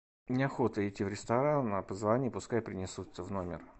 неохота идти в ресторан позвони пускай принесут в номер